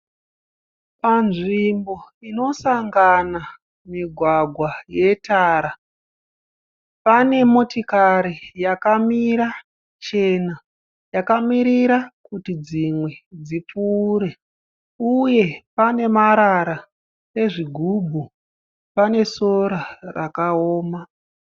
Panzvimbo inosangana migwagwa yetara. Pane motikari yakamira chena yakamirira kuti dzimwe dzipfuure, uye pane marara ezvi gubhu, pane sora rakawoma.